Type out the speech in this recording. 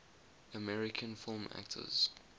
american film actors